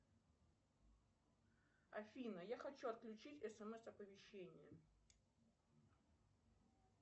афина я хочу отключить смс оповещение